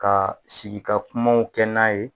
Ka sigi ka kumaw kɛ n'a ye